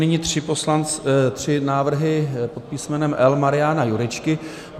Nyní tři návrhy pod písmenem L Mariana Jurečky.